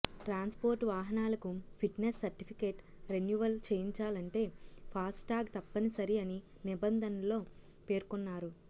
transport వాహనాలకు fitness certificate renewal చేయించాలంటే FASTag తప్పనిసరి అని నిబంధనల్లో పేర్కొన్నారు